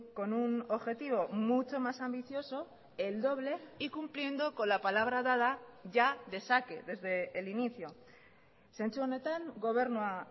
con un objetivo mucho más ambicioso el doble y cumpliendo con la palabra dada ya de saque desde el inicio zentzu honetan gobernua